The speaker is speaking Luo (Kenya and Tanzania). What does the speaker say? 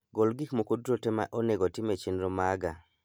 Gol gik moko duto te ma onego otim e chenro maga